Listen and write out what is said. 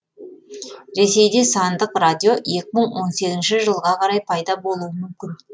ресейде сандық радио екі мың он сегізінші жылға қарай пайда болуы мүмкін